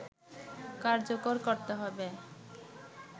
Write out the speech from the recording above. কার্যকর করতে হবে